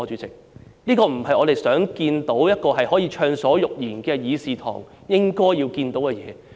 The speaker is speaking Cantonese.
這不是我們在一個可以暢所欲言的議事堂應該看到的事。